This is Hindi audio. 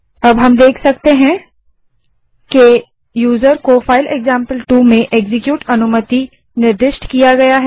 अब हम देख सकते हैं कि यूजर को फाइल एक्जाम्पल2 में एक्जीक्यूट अनुमति निर्दिष्ट की गयी है